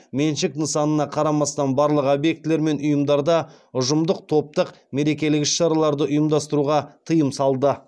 меншік нысанына қарамастан барлық объектілер мен ұйымдарда ұжымдық топтық мерекелік іс шараларды ұйымдастыруға тыйым салды